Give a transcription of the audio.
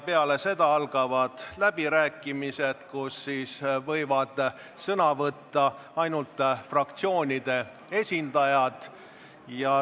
Peale seda algavad läbirääkimised, kus võivad sõna võtta ainult fraktsioonide esindajad.